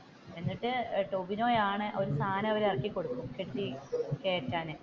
എന്നിട്ട് ടോവിനോയാണ് ഓരോ സാധനം അങ്ങ് ഇറക്കി കൊടുത്തു കെട്ടി കയറ്റാൻ.